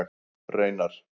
Reynar